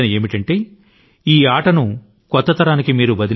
అది మీరు ఈ ఆటలను కొత్త తరానికి అప్పగించాలి అనేదే